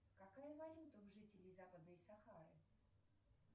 какая валюта у жителей западной сахары